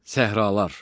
Səhralar.